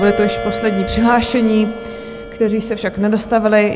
Byli to již poslední přihlášení, kteří se však nedostavili.